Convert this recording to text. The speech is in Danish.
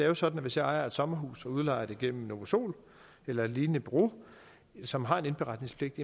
jo sådan at hvis jeg ejer et sommerhus og udlejer det gennem novasol eller et lignende bureau som har indberetningspligt